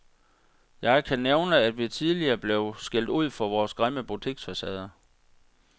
Jeg kan nævne, at vi tidligere blev skældt ud for vores grimme butiksfacader.